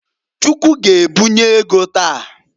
Chukwu g'ebunye ego taa.